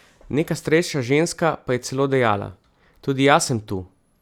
Neka starejša ženska pa je celo dejala: "Tudi jaz sem tu.